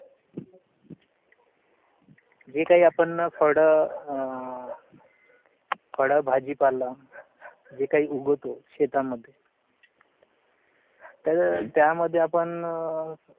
जे काही आपण अह फड अह फड भाजीपाला जे काही उगवतो शेता मध्ये. त्याच्या त्या मध्ये आपण अह